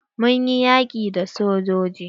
Mun yi yaƙi da sojoji.